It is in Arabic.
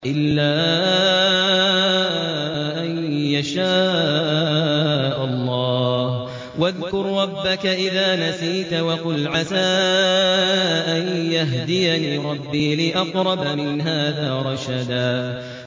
إِلَّا أَن يَشَاءَ اللَّهُ ۚ وَاذْكُر رَّبَّكَ إِذَا نَسِيتَ وَقُلْ عَسَىٰ أَن يَهْدِيَنِ رَبِّي لِأَقْرَبَ مِنْ هَٰذَا رَشَدًا